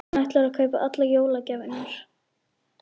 Hann ætlar að kaupa allar jólagjafirnar.